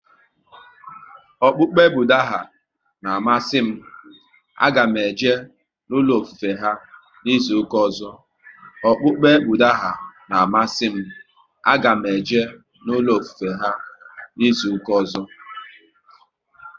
Okpukpe Budha na amasị m, a ga m eje n'ulo ofufe ha n'izuka ọzọ